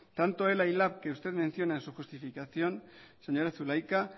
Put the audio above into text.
tanto ela y lab que usted menciona en su justificación señora zulaika